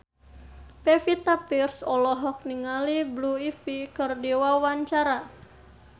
Pevita Pearce olohok ningali Blue Ivy keur diwawancara